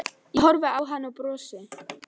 Ég horfi á hann og brosi.